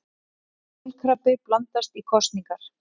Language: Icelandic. Kolkrabbi blandast í kosningar